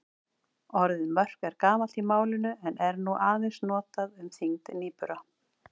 Orðið mörk er gamalt í málinu en er nú aðeins notað um þyngd nýbura.